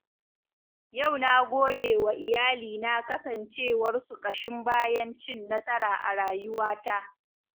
Yau na godewa iyalina kasancewarsu ƙashin bayan cin nasara a rayuwata.